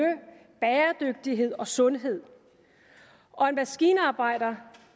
bæredygtighed og sundhed og en maskinarbejder